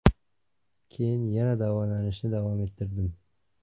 Keyin yana davolanishni davom ettirdim.